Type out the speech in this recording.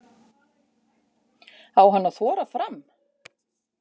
Á hann að þora fram?